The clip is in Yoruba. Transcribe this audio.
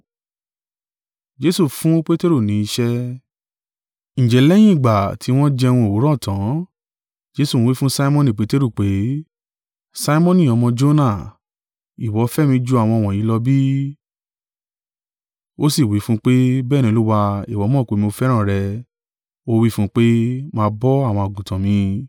Ǹjẹ́ lẹ́yìn ìgbà tí wọ́n jẹun òwúrọ̀ tan, Jesu wí fún Simoni Peteru pé, “Simoni, ọmọ Jona, ìwọ fẹ́ mi ju àwọn wọ̀nyí lọ bí?” Ó sì wí fún un pé, “Bẹ́ẹ̀ ni Olúwa; ìwọ mọ̀ pé, mo fẹ́ràn rẹ.” Ó wí fún un pé, “Máa bọ́ àwọn àgùntàn mi.”